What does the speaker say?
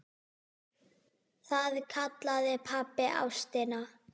Það kallaði pabbi ástina.